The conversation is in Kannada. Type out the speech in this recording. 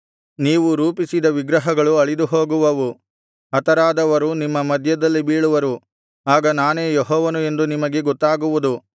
ನೀವು ರೂಪಿಸಿದ ವಿಗ್ರಹಗಳು ಅಳಿದುಹೋಗುವುವು ಹತರಾದವರು ನಿಮ್ಮ ಮಧ್ಯದಲ್ಲಿ ಬೀಳುವರು ಆಗ ನಾನೇ ಯೆಹೋವನು ಎಂದು ನಿಮಗೆ ಗೊತ್ತಾಗುವುದು